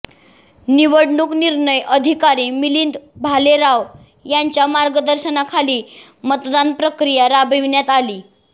निवडणूक निर्णय अधिकारी मिलिंद भालेराव यांच्या मार्गदर्शनाखाली मतदान प्रक्रिया राबविण्यात आली